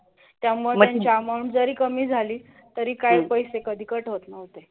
त्यामुळे त्यांची amount जरी कमी झाली तरी काय पैसे कधी cut होत नव्हते.